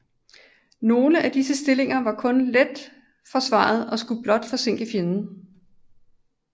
Nogle af disse stillinger var kun let forsvaret og skulle blot forsinke fjenden